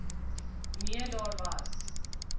nee daar was